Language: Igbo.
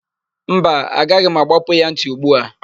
Mba, agaghị m àgbápú ya ntị ugbu a.